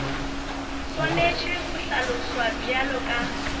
swanetše go hlaloswa bjalo ka